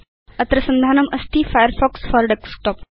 अत्र संधानम् अस्ति फायरफॉक्स फोर डेस्कटॉप